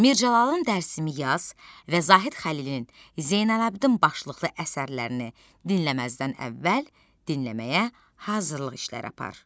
Mir Cəlalın Dərsimi yaz və Zahid Xəlilin Zeynalabdin başlıqlı əsərlərini dinləməzdən əvvəl dinləməyə hazırlıq işləri apar.